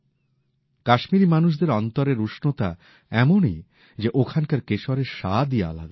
কাশ্মীরি মানুষদের অন্তরের উষ্ণতা এমনই যে ওখানকার কেশরের স্বাদই আলাদা